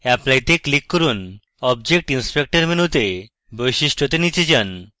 apply তে click করুন object inspector মেনুতে বৈশিষ্ট্যতে নীচে যান